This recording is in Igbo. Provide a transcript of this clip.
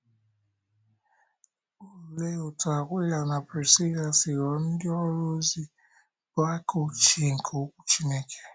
Olee otú Akwịla na Prisila si ghọọ ndị ọrụ ozi bụ́ aka ochie nke Okwu Chineke?